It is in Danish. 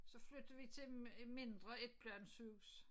Så flyttede vi til et mindre etplanshus